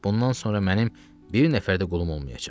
Bundan sonra mənim bir nəfər də qulum olmayacaq.